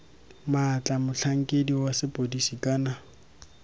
maatla motlhankedi wa sepodisi kana